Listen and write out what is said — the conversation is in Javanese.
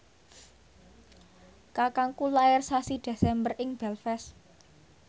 kakangku lair sasi Desember ing Belfast